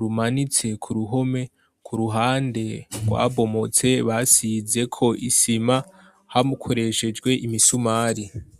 rumanitse ku ruhome ku ruhande rwa bomotse basize ko isima hamukoreshejwe imisumari